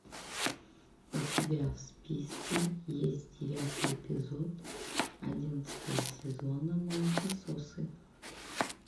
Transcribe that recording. у тебя в списке есть девятый эпизод одиннадцатого сезона молокососы